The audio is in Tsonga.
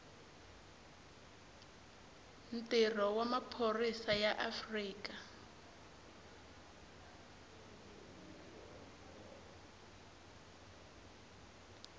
ntirho wa maphorisa ya afrika